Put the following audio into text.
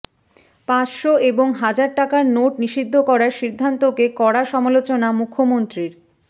পাঁচশো এবং হাজার টাকার নোট নিষিদ্ধ করার সিদ্ধান্তকে কড়া সমালোচনা মুখ্যমন্ত্রীর